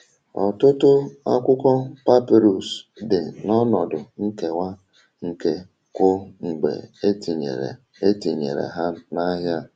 Ọtụtụ akwụkwọ papịrụs dị n’ọnọdụ nkewa nke ukwuu mgbe e tinyere tinyere ha n’ahịa.